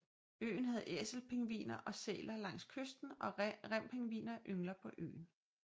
Øen har æselpingviner og sæler langs kysten og rempingviner yngler på øen